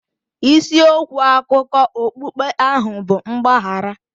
Isi okwu akụkọ okpukpe ahụ bụ mgbaghara.